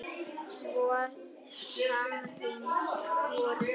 Svo samrýnd voru þau.